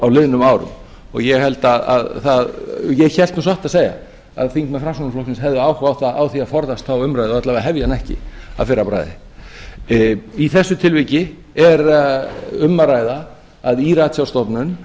á liðnum árum og ég hélt nú satt að segja að þingmenn framsóknarflokksins hefðu átt að forðast þá umræðu og alla vegana hefja hana ekki að fyrra bragði í þessu tilviki er um að ræða að í ratsjárstofnun